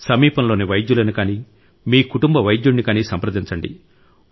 సమీపంలోని వైద్యులను కానీ మీ కుటుంబ వైద్యుడిని కానీ సంప్రదించండి